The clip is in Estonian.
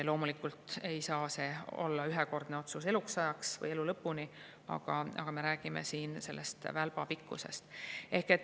Loomulikult ei saa see olla ühekordne otsus eluks ajaks või elu lõpuni, aga me räägime selle välba pikkusest.